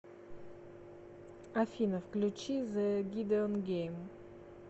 афина включи зэ гидеон гейм